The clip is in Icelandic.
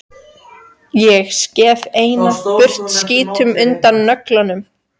Ég skef seinna burt skítinn undan nöglunum.